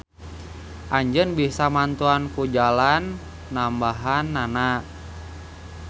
Anjeun bisa mantuan ku jalan nambahannana.